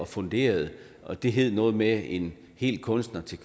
funderede og det hed noget med en hel kunstner til